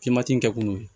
Fimanti in kɛ kun ye